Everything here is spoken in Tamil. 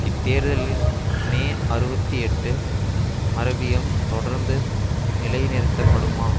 இத்தேர்தலில் மே அறுபத்தி எட்டு மரபியம் தொடர்ந்து நிலை நிறுத்தப்படுமா